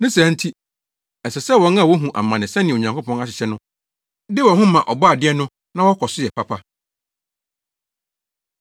Ne saa nti, ɛsɛ sɛ wɔn a wohu amane sɛnea Onyankopɔn ahyehyɛ no de wɔn ho ma Ɔbɔade no na wɔkɔ so yɛ papa.